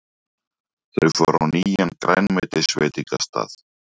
Þau fóru á nýjan grænmetisveitingastað.